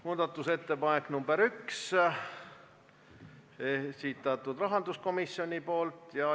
Muudatusettepanek nr 1, esitanud rahanduskomisjon.